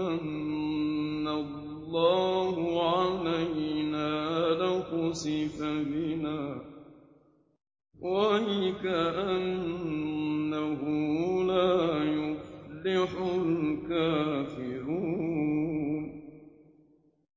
مَّنَّ اللَّهُ عَلَيْنَا لَخَسَفَ بِنَا ۖ وَيْكَأَنَّهُ لَا يُفْلِحُ الْكَافِرُونَ